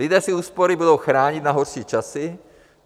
Lidé si úspory budou chránit na horší časy.